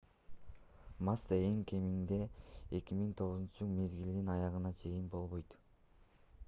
масса эң кеминде 2009 мезгилинин аягына чейин болбойт